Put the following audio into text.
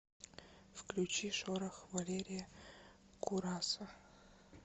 включи шорох валерия кураса